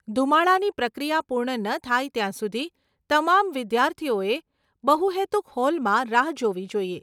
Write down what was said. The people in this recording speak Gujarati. ધૂમાડાની પ્રક્રિયા પૂર્ણ ન થાય ત્યાં સુધી તમામ વિદ્યાર્થીઓએ બહુહેતુક હોલમાં રાહ જોવી જોઈએ.